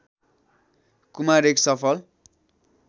कुमार एक सफल